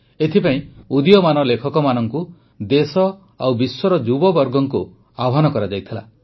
ଏଥିପାଇଁ ଉଦୀୟମାନ ଲେଖକମାନଙ୍କୁ ଦେଶ ଓ ବିଶ୍ୱର ଯୁବବର୍ଗଙ୍କୁ ଆହ୍ୱାନ କରାଯାଇଥିଲା